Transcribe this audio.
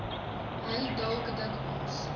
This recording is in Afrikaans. hy dalk dikwels